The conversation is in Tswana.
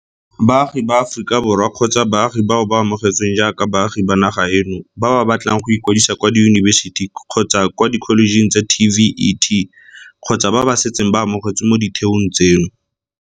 Baagi ba Aforika Borwa kgotsa baagi bao ba amogetsweng jaaka baagi ba naga eno ba ba batlang go ikwadisa kwa diyunibesiti kgotsa kwa dikholejeng tsa TVET kgotsa ba ba setseng ba amogetswe mo ditheong tseno.